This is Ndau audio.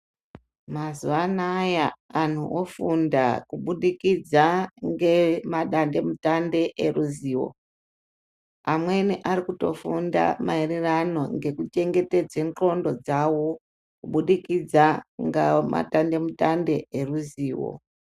Mazuva anawa vantu vanofunda kubudikidza madande mitambe veruzivo amweni Ari kufunda maererano ngekuchengetedza ngonxo dzawo kubudikidza nemadande mutande eruzivo.